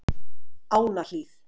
Ánahlíð